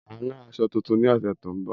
Màá rán aṣọ tuntun ní ọ̀sẹ̀ tó ń bọ̀